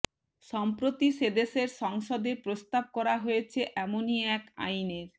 সম্প্রতি সেদেশের সংসদে প্রস্তাব করা হয়েছে এমনই এক আইনের